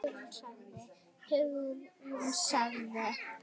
Hugrún sagði